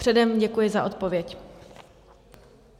Předem děkuji za odpověď.